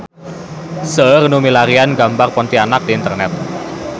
Seueur nu milarian gambar Pontianak di internet